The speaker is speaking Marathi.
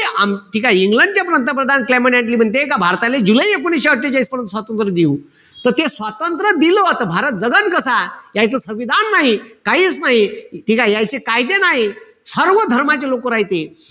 आम्ही ठीकेय? का इंग्लंड चे पंतप्रधान कलमेण्ट ऍटली म्हणते का भारताले जुलै एकोणीशे अट्ठेचाळीस नंतर स्वातंत्र्य देऊ. त ते स्वातंत्र्य दिल त भारत जगन कसा, यायचं संविधान नाही. काहीच नाई. ठीकेय? यायची कायदे नाई. सर्वधर्माचे लोकं राहायचे.